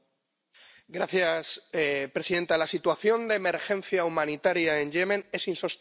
Señora presidenta, la situación de emergencia humanitaria en Yemen es insostenible.